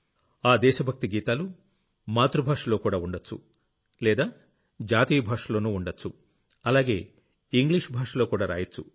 ఆ దేశ భక్తి గీతాలు మాతృభాషలో కూడా ఉండొచ్చు లేదా జాతీయ భాషలోనూ ఉండొచ్చు అలాగే ఇంగ్లిష్ భాషలో కూడా రాయొచ్చు